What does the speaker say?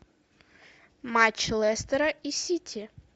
матч лестера и сити